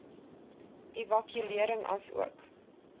evaluering asook